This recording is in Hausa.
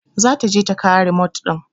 Za ta je ta kawo remote ɗin.